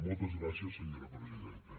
moltes gràcies senyora presidenta